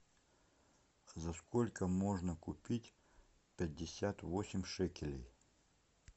за сколько можно купить пятьдесят восемь шекелей